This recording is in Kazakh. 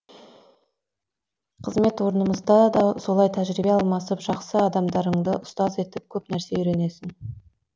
қызмет орнымызда да солай тәжірибе алмасып жақсы адамдарыңды ұстаз етіп көп нәрсе үйренесің